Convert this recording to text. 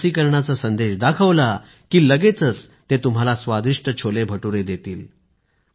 लसीकरणाचा संदेश दाखवला की लगेचच ते तुम्हाला स्वादिष्ट छोलेभटूरे देतील